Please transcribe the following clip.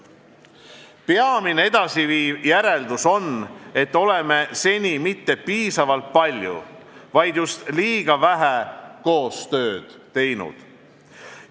Peamine edasiviiv järeldus on, et oleme seni mitte piisavalt palju, vaid just liiga vähe koostööd teinud.